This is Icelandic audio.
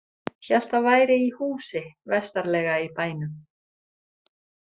Hélt það væri í húsi vestarlega í bænum.